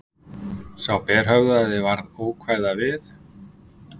Sá berhöfðaði varð ókvæða við.